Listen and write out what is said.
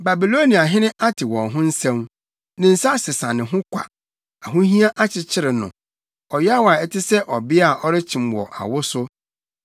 Babiloniahene ate wɔn ho nsɛm, ne nsa sesa ne ho kwa. Ahohiahia akyekyere no ɔyaw a ɛte sɛ ɔbea a ɔrekyem wɔ awo so.